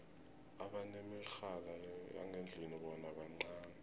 abanemirhala yangendlini bona bancani